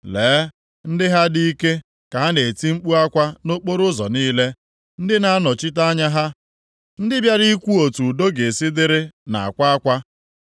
Lee ndị ha dị ike ka ha na-eti mkpu akwa nʼokporoụzọ niile; ndị na-anọchite anya ha, ndị bịara ikwu otu udo ga-esi dịrị na-akwa akwa.